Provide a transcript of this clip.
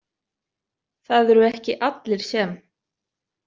Það eru ekki allir sem.